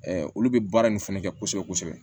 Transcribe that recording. olu bɛ baara nin fana kɛ kosɛbɛ kosɛbɛ